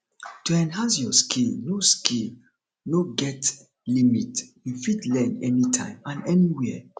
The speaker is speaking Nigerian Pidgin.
to enhance your skill no skill no get limit you fit learn anytime and anywhere